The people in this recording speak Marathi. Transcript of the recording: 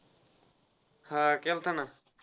हा केलता ना.